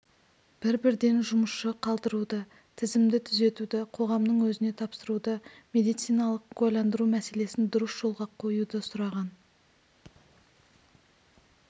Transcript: бір-бірден жұмысшы қалдыруды тізімді түзетуді қоғамның өзіне тапсыруды медициналық куәландыру мәселесін дұрыс жолға қоюды сұраған